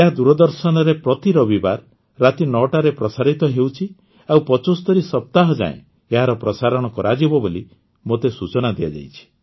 ଏହା ଦୂରଦର୍ଶନରେ ପ୍ରତି ରବିବାର ରାତି ୯ଟାରେ ପ୍ରସାରିତ ହେଉଛି ଆଉ ୭୫ ସପ୍ତାହଯାଏଁ ଏହାର ପ୍ରସାରଣ କରାଯିବ ବୋଲି ମୋତେ ସୂଚନା ଦିଆଯାଇଛି